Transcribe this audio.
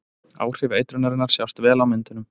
Áhrif eitrunarinnar sjást vel á myndunum.